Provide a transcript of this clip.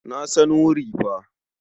Na san wuri fa.